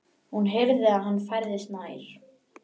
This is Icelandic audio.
Hún heyrði að hann færðist nær.